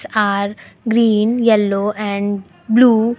are green yellow and blue.